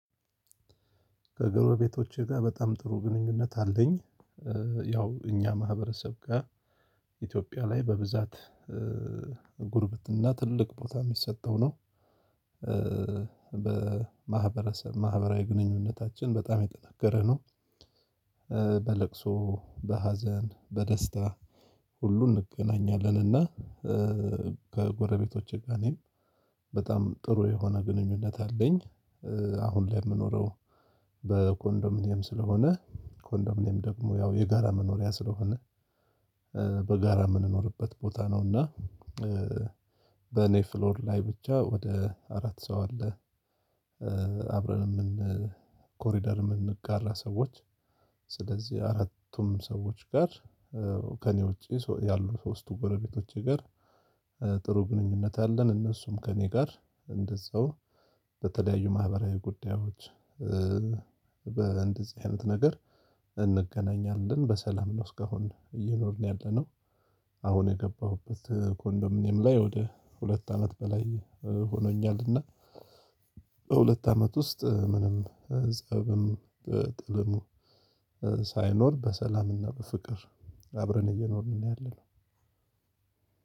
ከጎረቤቶቼ ጋር በጣም ጥሩ ግንኙነት አለኝ። ያው እኛ ማህበረሰብ ጋር ኢትዮጵያ ላይ በብዛት ጉርብት እና ትልቅ ቦታ የሚሰጠው ነው። በማህበረሰብ ማህበራዊ ግንኙነታችን በጣም የጠነከረ ነው። በለቅሶ በሀዘን በደስታ ሁሉ እንገናኛለንና። ከጎረቤቶቼ ጋር እኔም በጣም ጥሩ የሆነ ግንኙነት አለኝ። አሁን ላይ የምኖረው በኮንዶሚኒየም ስለሆነ ኮንዶሚኒየም ደግሞ ያው የጋራ መኖሪያ ስለሆነ በጋራ የምንኖርበት ቦታ ነው እና በኔፍሎር ላይ ብቻ ወደ አራት ሰው አለ። አብረን የምን ኮሪደር የምንጋራ ሰዎች ስለዚህ አራቱም ሰዎች ጋር ከእኔ ውጪ ያሉ ሶስቱ ጎረቤቶች ጋር ጥሩ ግንኙነት አለን። እነሱም ከእኔ ጋር እንደዛው በተለያዩ ማህበራዊ ጉዳዮች በእንደዚህ አይነት ነገር እንገናኛለን በሰላም ነው እስካሁን እየኖርን ያለነው። አሁን የገባሁበት ኮንዶሚኒየም ላይ ወደ ሁለት አመት በላይ ሆኖኛልና። በሁለት አመት ውስጥ ምንም ጸብም ጥልም ሳይኖር በሰላም እና በፍቅር አብረን እየኖርን ነው። ያለነው